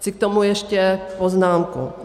Chci k tomu ještě poznámku.